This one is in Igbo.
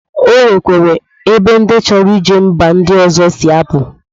O nwekwere ebe ndi chọrọ ije mba ndi ọzọ si apụ